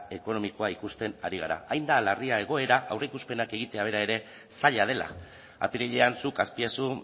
ekonomikoa ikusten ari gara hain da larria egoera aurreikuspenak egitea bera ere zaila dela apirilean zuk azpiazu